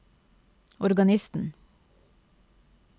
organisten